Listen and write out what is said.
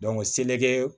seleke